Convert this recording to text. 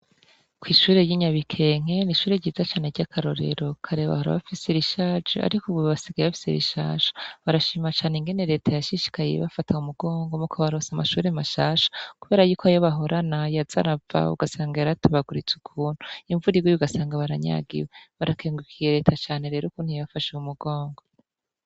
Ko'ishuri ry'inyabikenke n ishuri ryiza cane ry'akarorero karebahora abafise rishaje, ariko ububi basigaye bafise rishasha barashima cane ingene leta yashishikaye iye bafatawe umugongo mo kobarosa amashure mashasha, kubera yuko ayobahorana ya zarabawe ugasanga yaratobaguritse ukuntu imvurirgeye gasanga baranyagiwe barakengukiye leta cane rero kuntia yafashaw umugongo.